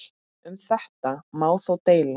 Um þetta má þó deila.